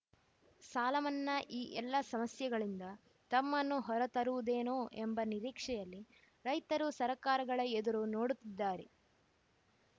ಸಾಲಮನ್ನಾ ಈ ಎಲ್ಲ ಸಮಸ್ಯೆಗಳಿಂದ ತಮ್ಮನ್ನು ಹೊರತರುವುದೇನೋ ಎಂಬ ನಿರೀಕ್ಷೆಯಲ್ಲಿ ರೈತರು ಸರ್ಕಾರಗಳ ಎದುರು ನೋಡುತ್ತಿದ್ದಾರೆ